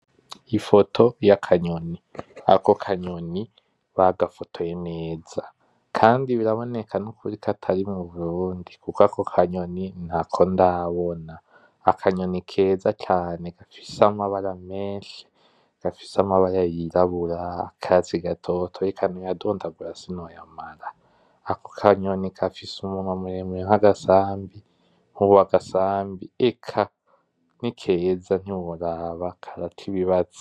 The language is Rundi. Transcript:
Ifoto yakanyoni, ako kanyoni bagafotoye neza kandi biraboke nukuri ko atari muburundi kuko ako kanyoni ntako ndabona. Akanyoni keza cane gafise amabara menshi, gafise amabara yirabura, akatsi gatoto, eka noya dondagura sinoyamara. Ako kanyoni gafise umunwa muremure nkagasabi, nkuwagasambi eka ni keza ntiworaba karati ibazo.